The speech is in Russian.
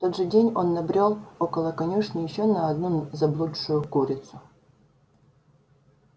в тот же день он набрёл около конюшни ещё на одну заблудшую курицу